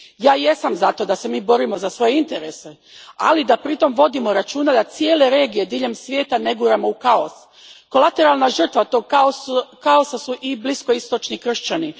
Ja jesam za to da se mi borimo za svoje interese, ali da pritom vodimo računa da cijele regije diljem svijeta ne guramo u kaos. Kolateralna žrtva tog kaosa su i bliskoistočni kršćani.